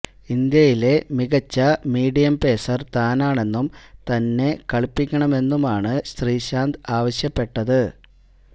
ഇന്ത്യയിലെ മികച്ച medium pacer താനാണെന്നും തന്നെ കളിപ്പിക്കണമെന്നുമാണ് ശ്രീശാന്ത് ആവശ്യപ്പെട്ടത്